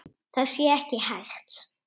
Það sé ekki hægt.